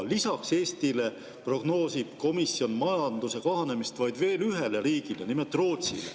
Lisaks Eestile prognoosib komisjon majanduse kahanemist vaid veel ühele riigile, nimelt Rootsile.